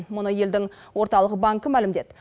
мұны елдің орталық банкі мәлімдеді